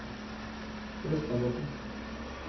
Brøstadbotn